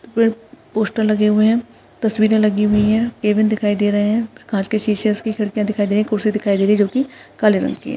Poster लगे हुए है तस्वीरे लगी हुई है कैबिन दिखाई दे रहे है काच के शीशे उसकी खिड़कियां दिखाई दे रहे कुर्सी दिखाई दे रही जो की काले रंग की है।